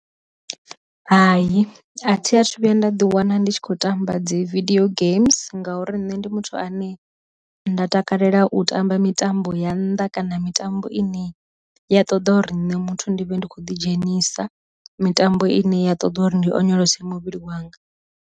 Hai a thi a thu vhuya nda ḓi wana ndi tshi khou tamba dzi vidio games ngauri nne ndi muthu ane nda takalela u tamba mitambo ya nnḓa kana mitambo ine ya ṱoḓa uri nṋe muthu ndi vhe ndi kho ḓi dzhenisa, mitambo ine ya ṱoḓa uri ndi onyolosa muvhili wanga.